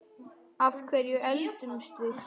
Af hverju eldumst við?